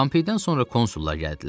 Pompeydən sonra konsullar gəldilər.